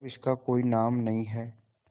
जब इसका कोई नाम नहीं है